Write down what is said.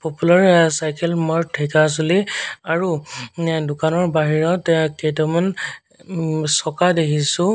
Popular cycle mart Dhekiajuli আৰু দোকানৰ বাহিৰত অ কেইটামান উম চকা দেখিছোঁ।